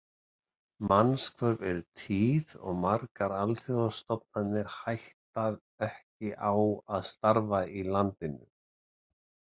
Mannshvörf eru tíð og margar alþjóðastofnanir hætta ekki á að starfa í landinu.